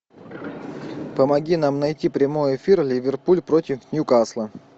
помоги нам найти прямой эфир ливерпуль против ньюкасла